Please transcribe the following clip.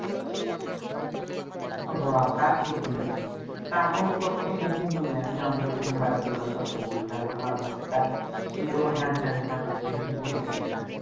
হ তা ঠিক বুলাচ্ছি তা এখন তকে সেইদিন বললাম যে আমার সাথে mobile দোকানটা খুল তালে ভালো হবে তা তুই তো হেট যা হেট যা করছি কিছু বলিস না